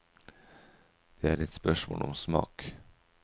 Det er et spørsmål om smak.